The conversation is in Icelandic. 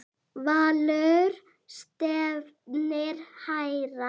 Valur stefnir hærra.